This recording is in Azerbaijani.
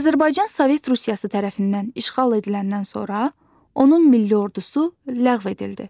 Azərbaycan Sovet Rusiyası tərəfindən işğal ediləndən sonra onun milli ordusu ləğv edildi.